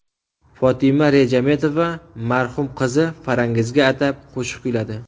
Fotima Rejametova marhum qizi Farangizga atab qo‘shiq kuyladi .